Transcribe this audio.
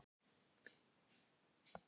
Þetta er gömul stytta. Styttan er í Reykjavík.